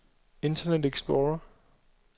internet explorer